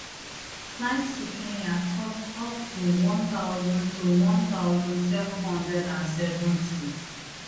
flights to kenya cost up to one thousand to one thousand seven hundred and seventy